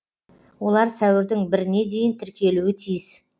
олар сәуірдің біріне дейін тіркелуі тиіс